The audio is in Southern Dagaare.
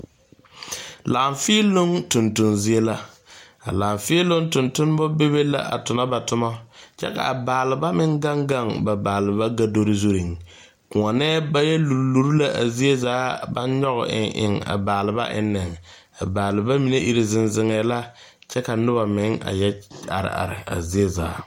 Laafeeloŋ toŋtoŋ zie la a laafeeloŋ tontonma bebe la a tona ba toma kyɛ ka a baaleba meŋ gaŋ gaŋ ba baaleba gadore zureŋ koɔnɛɛ ba yɛ luri luri la a zie zaa ka ba nyɔge eŋ eŋ a baaleba eŋne a baaleba mine iri zeŋ zeŋɛɛ la kyɛ ka noba meŋ yɔ are are a zie zaa.